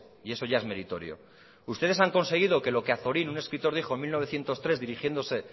y eso ya es meritorio ustedes han conseguido que lo que azorín un escritor dijo en mil novecientos tres dirigiéndose